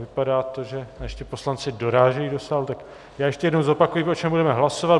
Vypadá to, že ještě poslanci dorážejí do sálu, tak já ještě jednou zopakuji, o čem budeme hlasovat.